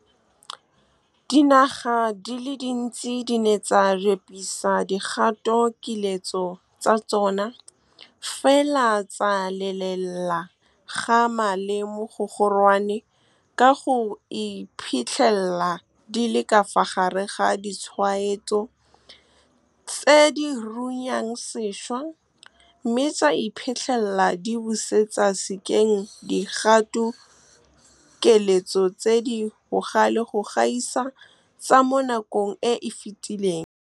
Dinaga di le dintsi di ne tsa repisa dikgatokiletso tsa tsona, fela tsa lelela kgama le mogogorwane ka go iphitlhela di le ka fa gare ga ditshwaetso tse di runyang sešwa, mme tsa iphitlhela di busetsa sekeng dikgatokiletso tse di bogale go gaisa tsa mo nakong e e fetileng. Dinaga di le dintsi di ne tsa repisa dikgatokiletso tsa tsona, fela tsa lelela kgama le mogogorwane ka go iphitlhela di le ka fa gare ga ditshwaetso tse di runyang sešwa, mme tsa iphitlhela di busetsa sekeng dikgatokiletso tse di bogale go gaisa tsa mo nakong e e fetileng.